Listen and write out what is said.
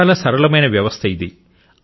చాలా సరళమైన వ్యవస్థ ఇది